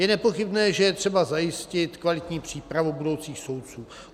Je nepochybné, že je třeba zajistit kvalitní přípravu budoucích soudců.